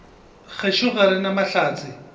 gešo ga re na mahlatse